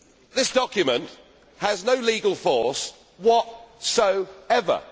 This document has no legal force whatsoever.